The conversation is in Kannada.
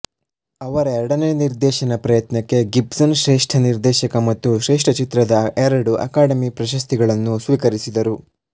ಅವರ ಎರಡನೇ ನಿರ್ದೇಶನ ಪ್ರಯತ್ನಕ್ಕೆ ಗಿಬ್ಸನ್ ಶ್ರೇಷ್ಠ ನಿರ್ದೇಶಕ ಮತ್ತು ಶ್ರೇಷ್ಠ ಚಿತ್ರದ ಎರಡು ಅಕಾಡೆಮಿ ಪ್ರಶಸ್ತಿಗಳನ್ನು ಸ್ವೀಕರಿಸಿದರು